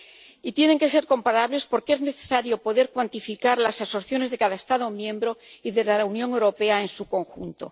Y tienen que ser comparables porque es necesario poder cuantificar las absorciones de cada Estado miembro y de la Unión Europea en su conjunto.